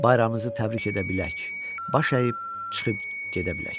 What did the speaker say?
Bayramınızı təbrik edə bilək, baş əyib çıxıb gedə bilək.